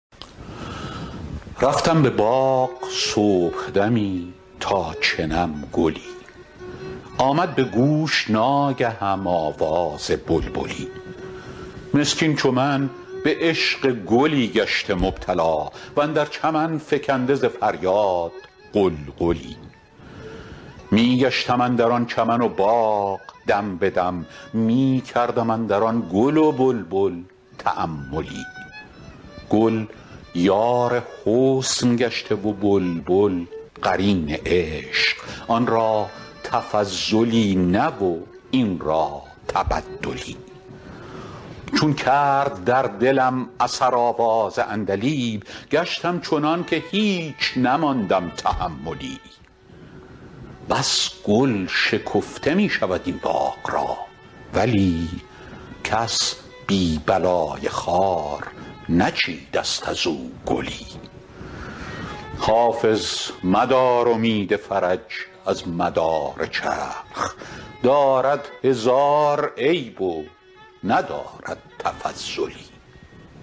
رفتم به باغ صبحدمی تا چنم گلی آمد به گوش ناگهم آواز بلبلی مسکین چو من به عشق گلی گشته مبتلا و اندر چمن فکنده ز فریاد غلغلی می گشتم اندر آن چمن و باغ دم به دم می کردم اندر آن گل و بلبل تاملی گل یار حسن گشته و بلبل قرین عشق آن را تفضلی نه و این را تبدلی چون کرد در دلم اثر آواز عندلیب گشتم چنان که هیچ نماندم تحملی بس گل شکفته می شود این باغ را ولی کس بی بلای خار نچیده ست از او گلی حافظ مدار امید فرج از مدار چرخ دارد هزار عیب و ندارد تفضلی